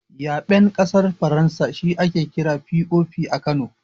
Yaɓen ƙasar Faransa shi ake kira da "POP" a Kano.